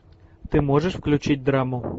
ты можешь включить драму